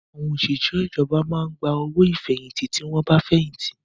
Àwọn òṣìṣẹ́ ìjọba máa ń gba owó ìfẹ̀yìntì tí wọ́n bá fẹ̀yìntì